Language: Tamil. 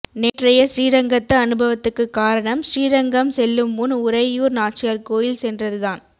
நேற்றைய ஸ்ரீரங்கத்து அனுபவத்துக்கு காரணம் ஸ்ரீரங்கம் செல்லும் முன் உரையூர் நாச்சியார் கோயில் சென்றது தான்